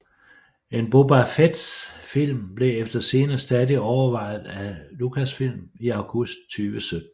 En Boba Fett film blev efter sigende stadig overvejet af Lucasfilm i august 2017